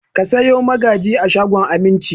Ka sayo magaji a shagon Aminci!